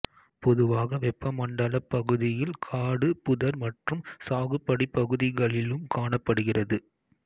பொதுவாக வெப்பமண்டலப் பகுதியில் காடு புதர் மற்றும் சாகுபடிப்பகுதிகளிலும் காணப்படுகிறது